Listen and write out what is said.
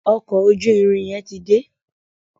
Ọkọ̀ ojú-irin yen tí dé.